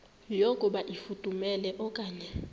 yokuba ifudumele okanye